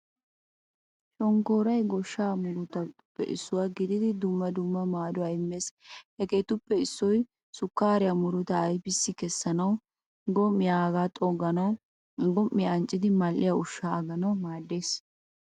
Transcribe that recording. Shonkkooroy goshshaa murutaape isuwaa gididi dumma dumma maaduwaa immees. Hagappe issoy sukariyaa murutaa ayfiyaa kessanawu, gom'iyaa aaga xogganawu, a gom'iyakka anccidi mal'iyaa ushshaa aganawu maadees.